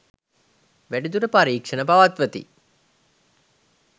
වැඩිදුර පරීක්ෂණ පවත්වති.